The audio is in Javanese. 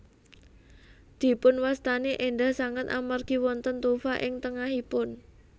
Dipunwastani éndah sanget amargi wonten tufa ing tengahipun